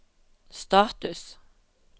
status